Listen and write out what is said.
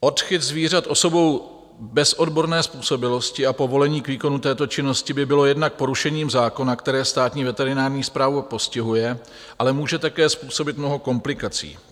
Odchyt zvířat osobou bez odborné způsobilosti a povolení k výkonu této činnosti by byl jednak porušením zákona, které Státní veterinární správa postihuje, ale může také způsobit mnoho komplikací.